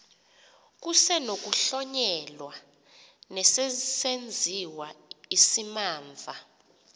kusenokuhlonyelwa nesesenziwa isimamva